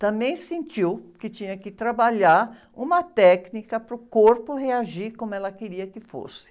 também sentiu que tinha que trabalhar uma técnica para o corpo reagir como ela queria que fosse.